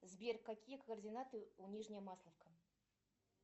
сбер какие координаты у нижняя масловка